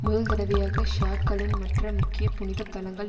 முதல்தடவையாக ஷியாக்களின் மற்ற முக்கிய புனித தலங்கள்